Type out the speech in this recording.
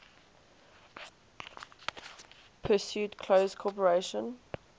pursued close cooperation